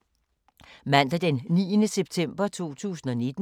Mandag d. 9. september 2019